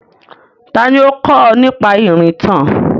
Tani ó kó ọ nípa ìrìntàn?